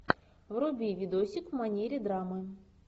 вруби видосик в манере драмы